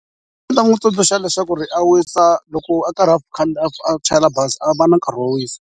Ndzi nga n'wu tsundzuxa leswaku a wisa loko a karhi a a chayela bazi a va na nkarhi wo wisa.